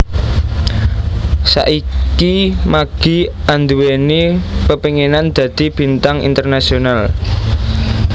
Saiki Maggie anduweni pepenginan dadi bintang internasional